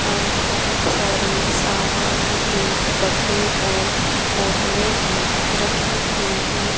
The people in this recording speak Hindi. और बहुत सारे सामानों के डब्बे और बोतलें भी रखी हुई हैं।